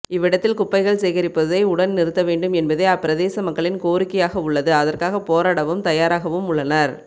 இவ்விடத்தில் குப்பைகள் சேகரிப்பதை உடன் நிறுத்தவேண்டும் என்பதே அப்பிரதேச மக்களின் கோரிக்கையாகவுள்ளது அதற்காக போராடவும் தயாராகவும் உள்ளனர்